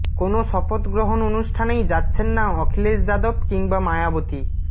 কোনও শপথগ্রহণ অনুষ্ঠানেই যাচ্ছেন না অখিলেশ যাদব কিংবা মায়াবতী